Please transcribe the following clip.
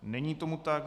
Není tomu tak.